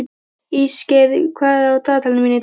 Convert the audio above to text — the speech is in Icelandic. Ísgeir, hvað er á dagatalinu mínu í dag?